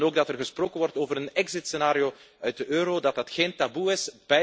Ze willen ook dat er gesproken wordt over een exitscenario uit de euro, dat dat geen taboe is.